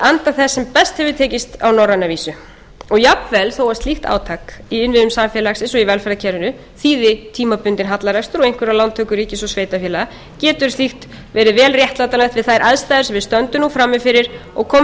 anda þess sem best hefur tekist á norræna vísu jafnvel þó að slíkt átak í innviðum samfélagsins og velferðarkerfinu þýði tímabundinn hallarekstur og einhverjar lántökur ríkis og sveitarfélaga getur slíkt verið vel réttlætanlegt við þær aðstæður sem við stöndum nú frammi fyrir og komum til